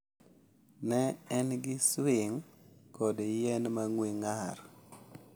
Ne en gi swing kod yien ma ng’we ng’ar.